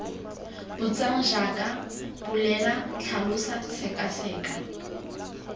botsang jaaka bolela tlhalosa sekaseka